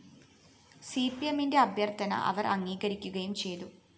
സിപിഎമ്മിന്റെ അഭ്യര്‍ഥന അവര്‍ അംഗീകരിക്കുകയും ചെയ്തു